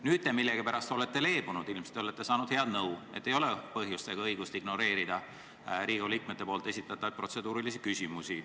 Nüüd olete te millegipärast leebunud, ilmselt olete saanud head nõu, et ei ole põhjust ega õigust ignoreerida Riigikogu liikmete esitatavaid protseduurilisi küsimusi.